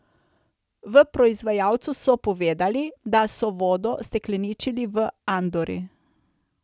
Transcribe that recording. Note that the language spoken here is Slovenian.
V proizvajalcu so povedali, da so vodo stekleničili v Andori.